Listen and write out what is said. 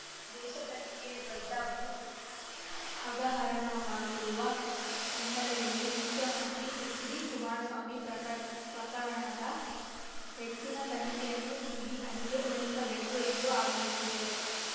ದೇಶದಲ್ಲಿಯೇ ದೊಡ್ಡ ಭೂ ಹಗ್ಗ ಹರಣವಾಗಿರುವ ಹಿನ್ನೆಲೆಯಲ್ಲಿ ಮುಖ್ಯಮಂತ್ರಿ ಎಚ್‌ಡಿಕುಮಾರಸ್ವಾಮಿ ಪ್ರಕರಣದ ಹೆಚ್ಚಿನ ತನಿಖೆಯನ್ನು ಸಿಬಿಐಗೆ ವಹಿಸಬೇಕು ಎಂದು ಆಗ್ರಹಿಸಿದರು